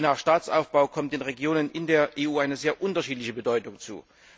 Je nach Staatsaufbau kommt den Regionen in der EU eine sehr unterschiedliche Bedeutung zu.